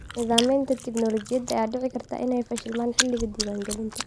Nidaamyada tignoolajiyada ayaa dhici karta inay fashilmaan xilliga diiwaangelinta.